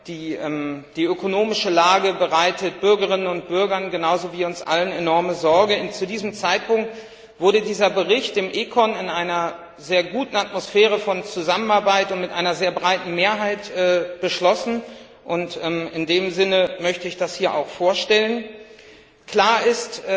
Die ökonomische Lage bereitet Bürgerinnen und Bürgern genauso wie uns allen enorme Sorge. Zu diesem Zeitpunkt wurde dieser Bericht im Ausschuss für Wirtschaft und Währung in einer sehr guten Atmosphäre der Zusammenarbeit und mit einer sehr breiten Mehrheit beschlossen. In dem Sinne möchte ich das hier auch vorstellen. Klar ist,